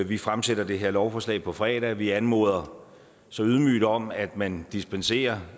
vi fremsætter det her lovforslag på fredag og vi anmoder så ydmygt om at man dispenserer